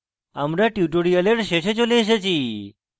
আমরা tutorial শেষে চলে এসেছি